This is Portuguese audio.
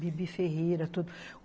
Bibi Ferreira.